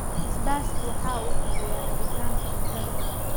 Basbaasku waxa uu kiciyaa rabitaanka cuntada.